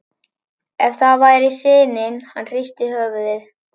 Ef það væri sinin- hann hristi höfuðið.